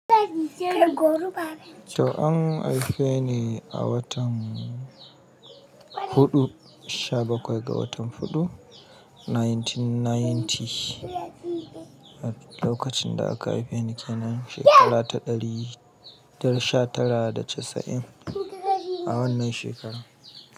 To an haife ni a watan huɗu sha bakwai ga watan huɗu 1990. A lokacin da aka haife ni kenan shekara ta ɗari da sha tara da casa'in a wannan shekarar.